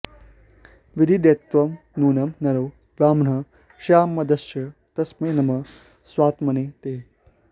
विदित्वैव नूनं नरो ब्राह्मणः स्यादमर्त्यश्च तस्मै नमः स्वात्मने ते